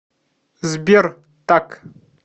сбер так